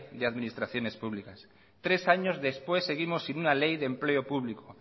de administraciones públicas tres años después seguimos sin una ley de empleo público